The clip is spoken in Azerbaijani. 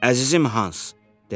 “Əzizim Hans!”